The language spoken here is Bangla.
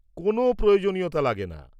-কোন প্রয়োজনীয়তা লাগেনা।